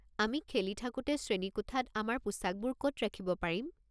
আমি খেলি থাকোতে শ্ৰেণীকোঠাত আমাৰ পোছাকবোৰ ক'ত ৰাখিব পাৰিম?